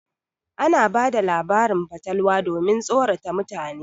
Ana bada labarin fatalwa domin tsorata mutane.